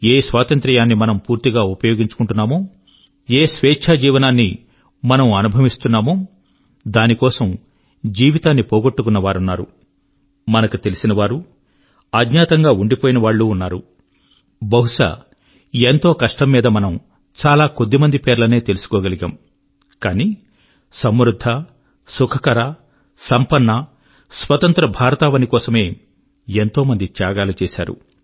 ఏ స్వాతంత్ర్యాన్ని మనం పూర్తిగా ఉపయోగించుకుంటున్నామో ఏ స్వేచ్ఛా జీవనాన్ని మనం అనుభవిస్తున్నామో దాని కొరకు జీవితాన్ని పోగోట్టుకున్న వారున్నారు బహుశా ఎంతో కష్టం మీద మనము చాలా కొద్ది మంది పేర్లనే తెలుసుకోగలమే కానీ తమ కలల ను స్వతంత్ర భారతవని కలల ను సమృద్ధ సుఖకర సంపన్న స్వతంత్ర భారతావని కోసమే ఎంతో మంది త్యాగాలు చేశారు